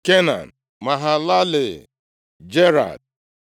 Kenan, Mahalalel, Jared,